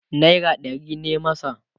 naira ɗari ne masa